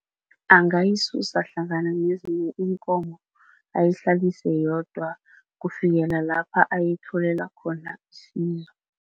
Angayisusa hlangana nezinye iinkomo ayihlalise yodwa kufikela lapha ayitholela khona isizo.